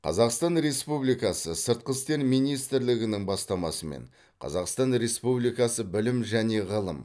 қазақстан республикасы сыртқы істер министрлігінің бастамасымен қазақстан республикасы білім және ғылым